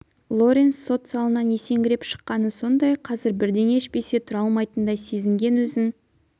лоренс сот залынан есеңгіреп шыққаны сондай қазір бірдеңе ішпесе тұра алмайтындай сезінген өзін